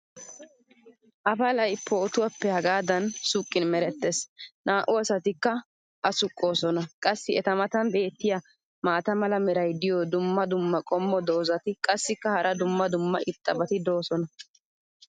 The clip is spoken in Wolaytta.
Appalay puutuwappe hagaadan suqqin meretees. naa'u asatikka a suqqoosona. qassi eta matan beetiya maata mala meray diyo dumma dumma qommo dozzati qassikka hara dumma dumma irxxabati doosona.